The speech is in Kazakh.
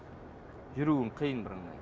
жүруің қиын бірыңғай